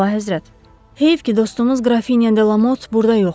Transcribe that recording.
Əlahəzrət, heyf ki dostumuz Qrafinya de Lamot burda yoxdur.